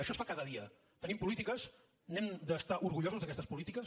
això es fa cada dia tenim polítiques n’hem d’estar orgullosos d’aquestes polítiques